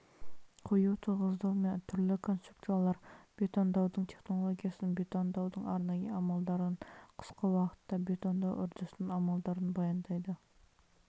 қою тығыздау мен түрлі конструкциялар бетондауының технологиясын бетондаудың арнайы амалдарын қысқы уақытта бетондау үрдісінің амалдарын баяндайды